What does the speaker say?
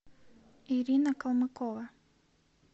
ирина колмыкова